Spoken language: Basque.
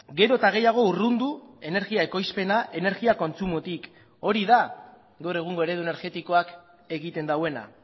gero eta gehiago urrundu energia ekoizpena energia kontsumotik hori da gaur egungo eredu energetikoak egiten duena